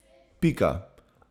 Pika.